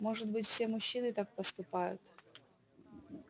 может быть все мужчины так поступают